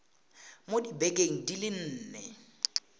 mo dibekeng di le nne